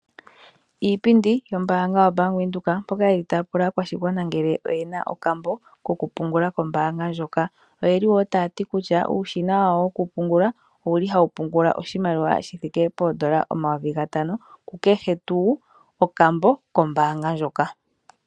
Iipindi yombaanga yobank widhoek mpoka ye li ta ya pula aakwashigwana ngele oyena okambo kokupungula kombaanga ndjoka oye li woo ta ya ti kutya uushina wawo wokupungula owuli ha wu pungula oshimaliwa shithike poondola omayovi gatano ku kehe tuu okambo kombaanga ndjoka.